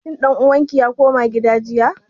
Shin ɗan uwan ki ya koma gida jiya?